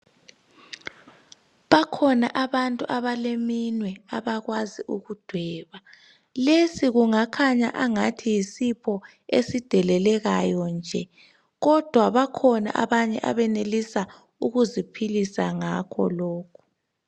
Bakhona abantu abaleminwe abakwazi ukudweba lesi kungakhanya angathi yisipho esidelelekayo nje kodwa bakhona abanye abenelisa ukuziphilisa ngakho lokhu.